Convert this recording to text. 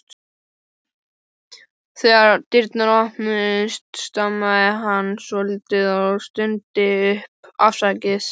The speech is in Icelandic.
Þegar dyrnar opnuðust stamaði hann svolítið og stundi upp: Afsakið